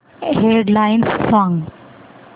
head lines सांग